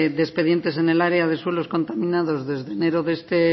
de expedientes en el área de suelos contaminados desde enero de este